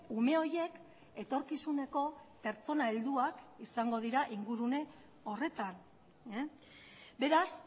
ume horiek etorkizuneko pertsona helduak izango dira ingurune horretan beraz